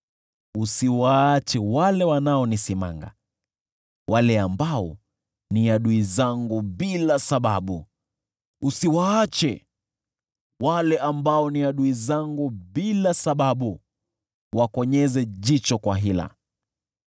Usiwaache wale wanaonisimanga, wale ambao ni adui zangu bila sababu; usiwaache wale ambao ni adui zangu bila sababu wakonyeze jicho kwa hila.